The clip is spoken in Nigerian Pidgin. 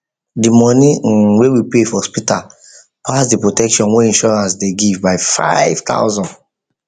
the money um wey we pay for hospital pass the protection wey insurance dey give by 5000